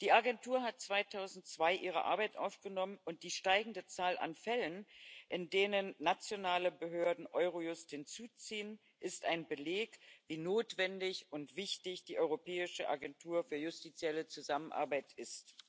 Die Agentur hat 2002 ihre Arbeit aufgenommen, und die steigende Zahl an Fällen, in denen nationale Behörden Eurojust hinzuziehen, ist ein Beleg dafür, wie notwendig und wichtig die Europäische Agentur für justizielle Zusammenarbeit ist.